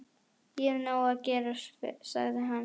Ég hef nóg að gera, sagði hann.